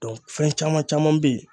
fɛn caman caman beyi.